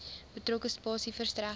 betrokke spasie verstrek